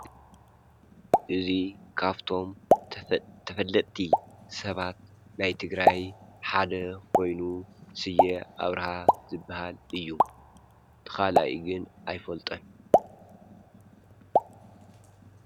እዙይ ካፍቶም ተፈለጥቲ ሰባት ናይ ትግራይ ሓደ ኾይኑ ሢየ ኣብርሃ ዘበሃል እዩ ተኻላኢ ግን ኣይፈልጠን።